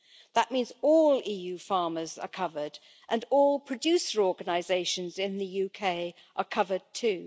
That means all EU farmers are covered, and all producer organisations in the UK are covered too.